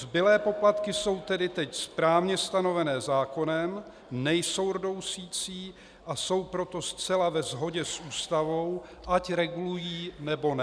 Zbylé poplatky jsou tedy teď správně stanovené zákonem, nejsou rdousicí, a jsou proto zcela ve shodě s Ústavou, ať regulují, nebo ne.